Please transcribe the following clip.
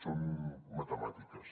són matemàtiques